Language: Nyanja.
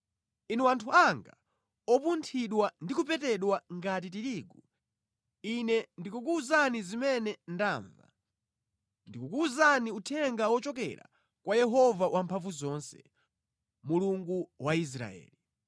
Inu anthu anga opunthidwa ndi kupetedwa ngati tirigu, ine ndikukuwuzani zimene ndamva ndikukuwuzani Uthenga wochokera kwa Yehova Wamphamvuzonse, Mulungu wa Israeli.